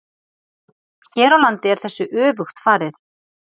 Hér á landi er þessu öfugt farið.